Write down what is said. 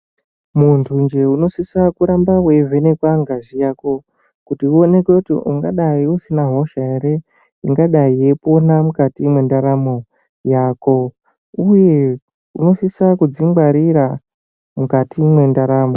Muntunje unosisa kuramba weivhenekwa ngazi yako kuti uonekwe kuti ungadai usina hosha ere ingadai yeipona mukati mwendaramo yako uye unosisa kudzingwarira mukati mwendaramo.